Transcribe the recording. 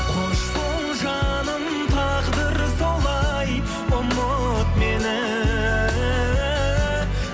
қош бол жаным тағдыр солай ұмыт мені